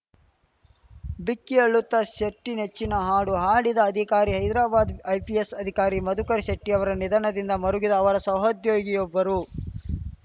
ಬಿಕ್ಕಿ ಅಳುತ್ತಾ ಶೆಟ್ಟಿನೆಚ್ಚಿನ ಹಾಡು ಹಾಡಿದ ಅಧಿಕಾರಿ ಹೈದರಾಬಾದ್‌ ಐಪಿಎಸ್‌ ಅಧಿಕಾರಿ ಮಧುಕರ ಶೆಟ್ಟಿಅವರ ನಿಧನದಿಂದ ಮರುಗಿದ ಅವರ ಸಹೋದ್ಯೋಗಿಯೊಬ್ಬರು